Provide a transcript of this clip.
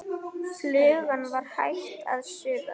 Flugan var hætt að suða.